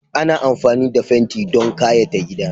Ana amfani da fenti don kayata gida.